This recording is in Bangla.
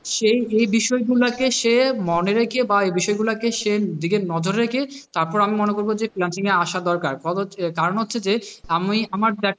সে এই বিষয়গুলো কে সে মনে রেখে বা বা এ বিষয়গুলোকে সে নিজের নজরে রেখে তারপর আমি মনে করব যে freelancing এ আসা দরকার কারণ হচ্ছে যে আমি আমার,